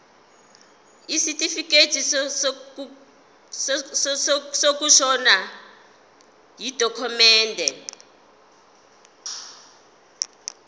isitifikedi sokushona yidokhumende